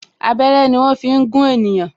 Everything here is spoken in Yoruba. Abẹ́rẹ́ ni wọn fi ń gún ènìyàn